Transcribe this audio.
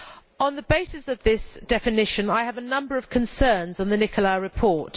On the basis of this definition, I have a number of concerns about the Nicolai report.